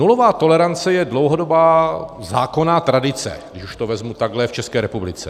Nulová tolerance je dlouhodobá zákonná tradice, když už to vezmu takhle, v České republice.